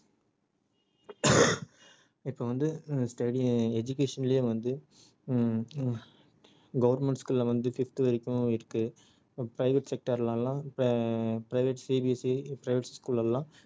இப்ப வந்து ஹம் study~ education லயே வந்து ஹம் அஹ் government school ல வந்து fifth வரைக்கும் இருக்கு private sector ல எல்லாம் இப்ப ஆஹ் private private school ல எல்லாம்